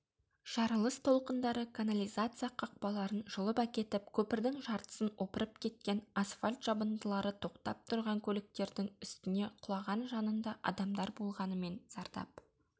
жарылыс толқындары канализация қақпаларын жұлып әкетіп көпірдің жартысын опырып кеткен асфальт жабындылары тоқтап тұрған көліктердің үстіне құлаған жанында адамдар болғанымен зардап